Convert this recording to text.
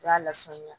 U y'a lasaniya